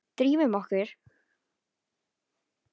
Drífum okkur.